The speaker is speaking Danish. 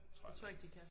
Det tror jeg ikke de kan